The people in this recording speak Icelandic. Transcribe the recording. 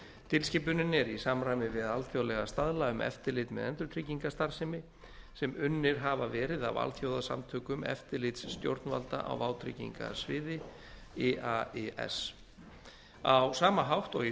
tilskipunin er í samræmi við alþjóðlega staðla um eftirlit með endurtryggingastarfsemi sem unnir hafa verið af alþjóðasamtökum eftirlitsstjórnvalda á vátryggingasviði á sama hátt og í